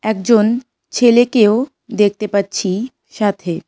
একজন ছেলেকেও দেখতে পাচ্ছি সাথে।